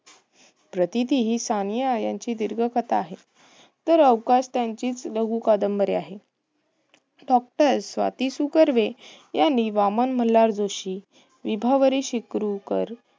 यतीती ही सानिया यांची दीर्घ कथा आहे, तर अवकाश त्यांचीच लघु कादंबरी आहे. doctor स्वाती सु. कर्वे यांनी वामन मल्हार जोशी, विभावरी शिपरुरकर